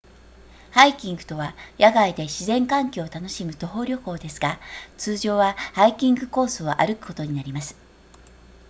ハイキングとは野外で自然環境を楽しむ徒歩旅行ですが通常はハイキングコースを歩くことになります